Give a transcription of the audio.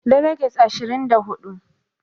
Deliges ashirin da hudu